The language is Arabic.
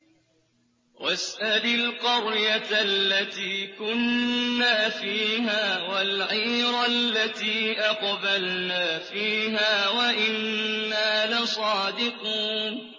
وَاسْأَلِ الْقَرْيَةَ الَّتِي كُنَّا فِيهَا وَالْعِيرَ الَّتِي أَقْبَلْنَا فِيهَا ۖ وَإِنَّا لَصَادِقُونَ